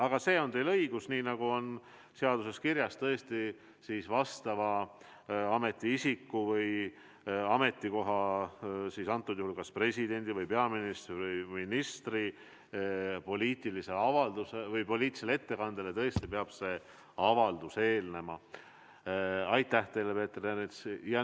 Aga selles on teil õigus, tõesti, et nii nagu on seaduses kirjas, peab vastava ametiisiku, antud juhul kas presidendi või peaministri või ministri poliitilise ettekandele eelnema avaldus.